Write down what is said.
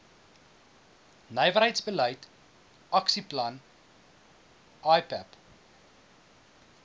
nywerheidsbeleid aksieplan ipap